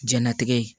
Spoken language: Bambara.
Jɛnlatigɛ